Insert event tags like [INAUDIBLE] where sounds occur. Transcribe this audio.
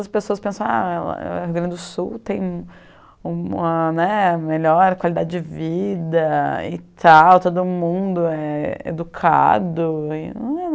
As pessoas pensam ah, ela é do Rio Grande do Sul tem uma melhor qualidade de vida e tal, todo mundo é é educado [UNINTELLIGIBLE]